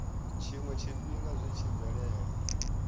tshiwe tshifhinga zwi tshi bvelela